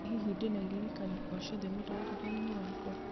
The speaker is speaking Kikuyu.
ĩ hihi ndĩ na iririkano o ciothe mũtaratara-inĩ wakwa